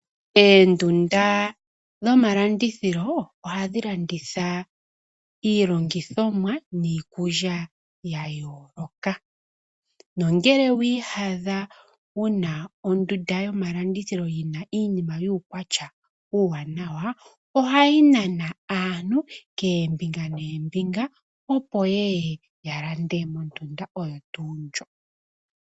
Oondunda dhomalandithilo ohadhi landitha iilandithomwa niikulya ya yooloka nongele wi yadha wu na ondunda yomalandithilo yi na uukwatya wiinima iiwanawa, ohayi nana aantu kombinga noombinga opo yeye ya lande mondunda oyo tuu ndjo.